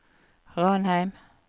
Ranheim